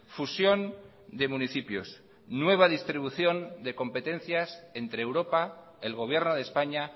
fusión de municipios nueva distribución de competencias entre europa el gobierno de españa